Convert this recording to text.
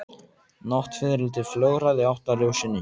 Náttfiðrildi flögraði í átt að ljósinu.